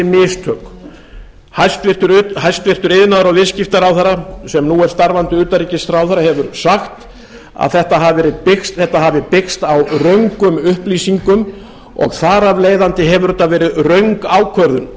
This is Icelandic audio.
mistök hæstvirtur iðnaðar og viðskiptaráðherra sem nú er starfandi utanríkisráðherra hefur sagt að þetta hafi byggst á röngum upplýsingum og þar af leiðandi hefur þetta verið röng ákvörðun